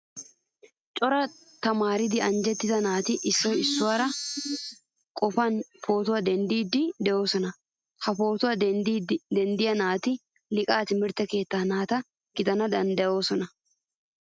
Coraa tamaaridi anjjettida naati issoy issuwaa qoppanawu pootuwaa denddidi deosona. Ha pootuwaa denddida naati liqa timirtte keettaa naata gidanawu danddayoosona.